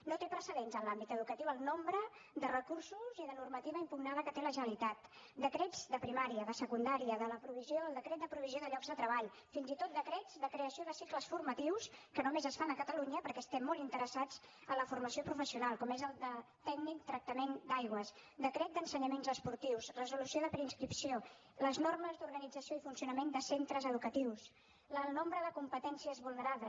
no té precedents en l’àmbit educatiu el nombre de recursos i de normativa impugnada que té la generalitat decrets de primària de secundària el decret de provisió de llocs de treball fins i tot decrets de creació de cicles formatius que només es fan a catalunya perquè estem molt interessats en la formació professional com és el de tècnic en tractament d’aigües decret d’ensenyaments esportius resolució de preinscripció les normes d’organització i funcionament de centres educatius el nombre de competències vulnerades